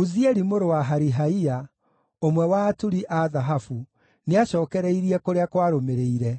Uzieli mũrũ wa Harihaia, ũmwe wa aturi a thahabu, nĩacookereirie kũrĩa kwarũmĩrĩire;